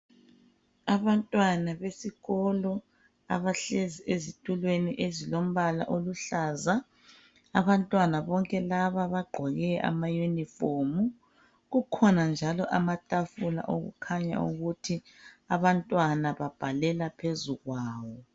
abantwana besikolo abahlezi ezitulweni ezilempala eluhlaza abantwana bonke laba bagqoke ama uniform kukhona njalo amatafula okukhanya ukuthi abantwana babhalela phezulu kwabo